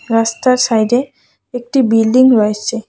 রাস্তার সাইডে একটি বিল্ডিং রয়েছে।